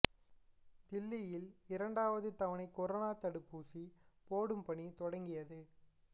தில்லியில் இரண்டாவது தவணை கரோனா தடுப்பூசி போடும் பணி தொடங்கியது